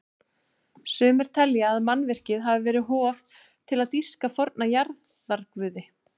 Sumir telja að mannvirkið hafi verið hof til að dýrka forna jarðarguði.